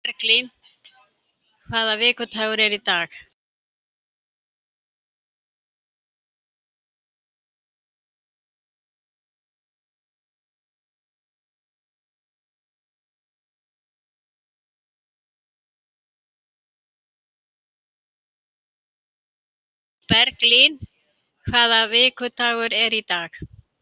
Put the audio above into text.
Berglín, hvaða vikudagur er í dag?